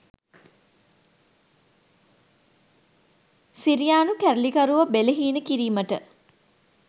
සිරියානු කැරලිකරුවෝ බෙලහීන කිරීමට